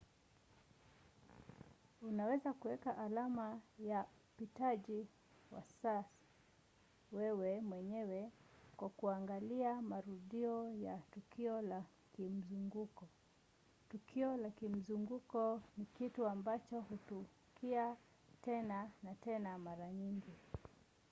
unaweza kuweka alama ya upitaji wa saa wewe mwenyewe kwa kuangalia marudio ya tukio la kimzunguko. tukio la kimzunguko ni kitu ambacho hutukia tena na tena mara nyingi